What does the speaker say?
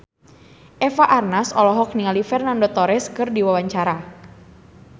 Eva Arnaz olohok ningali Fernando Torres keur diwawancara